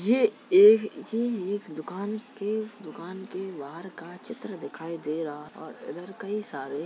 ये एक ये एक दुकान के दुकान के बाहर का चित्र दिखाई दे रहा है और इधर कई सारे --